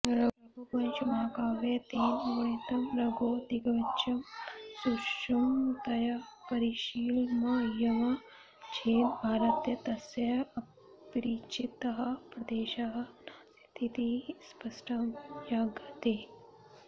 रघुवंशमहाकाव्ये तेन वर्णितं रघोः दिग्विजयं सूक्ष्मतया परिशीलयामश्चेद् भारते तस्य अपरिचितः प्रदेशः नास्तीति स्पष्टं ज्ञायते